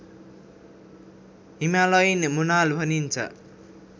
Himalayan मोनाल भनिन्छ